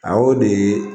A y'o de